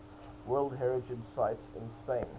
world heritage sites in spain